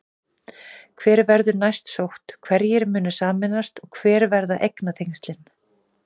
Hvar verður næst sótt, hverjir munu sameinast og hver verða eignatengslin?